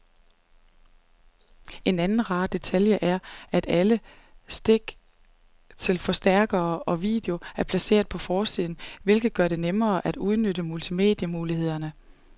En anden rar detalje er, at alle stik til forstærker og video er placeret på forsiden, hvilket gør det nemmere at udnytte multimedie-mulighederne.